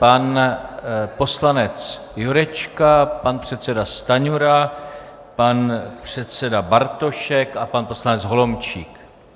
Pan poslanec Jurečka, pan předseda Stanjura, pan předseda Bartošek a pan poslanec Holomčík.